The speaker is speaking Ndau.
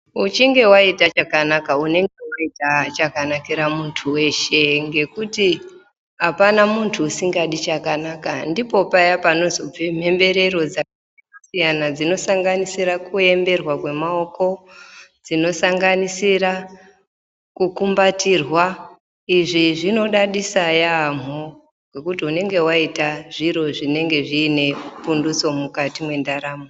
Uchinge waita chakanaka unenge waita chakanakira muntu weshe ngekuti apana muntu usingadi chakanaka ndipo paya panozobve mhemberero dzakasiyana dzinosanganisira kuemberwa kwemaoko, dzinosanganisira kukumbatirwa izvi zvinodadisa yaamho ngekuti unonga waite zviro zvinenge zviine pundutso mukati mwendaramo.